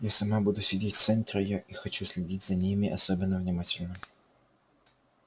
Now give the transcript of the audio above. я сама буду сидеть в центре и хочу следить за ними особенно внимательно